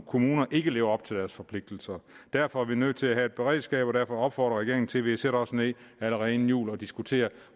kommuner ikke lever op til deres forpligtelser derfor er vi nødt til at have et beredskab og derfor opfordrer jeg regeringen til at vi sætter os ned allerede inden jul og diskuterer